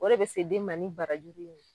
O de bɛ se den ma ni barajuru in ye.